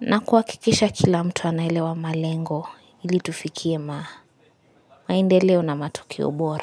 na kuhakikisha kila mtu anaelewa malengo ili tufikie maendeleo na matokeo bora.